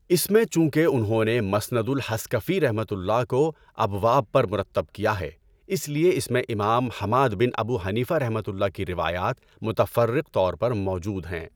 اس میں چونکہ انہوں نے مسند الحصکفیؒ کو ابواب پر مرتب کیا ہے اس لئے اس میں امام حماد بن ابو حنیفہؒ کی روایات متفرق طور پر موجود ہیں۔